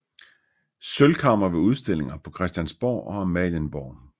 Sølvkammer ved udstillinger på Christiansborg og Amalienborg